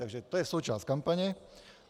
Takže to je součást kampaně.